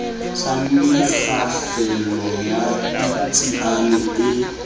sa mekgahlelo ya ditsiane e